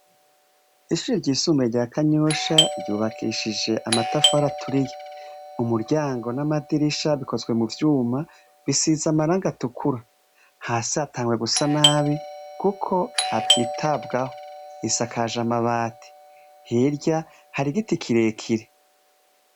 Ishure ryisumbuye rya kanyosha ryubakishije amatafari aturiye, umuryango n'amadirisha bikozwe mu vyuma bisize amarangi atukura ,hasi hatanguye gusa nabi kuko hatitabwaho ,isakaje amabati hirya hari igiti kirekire.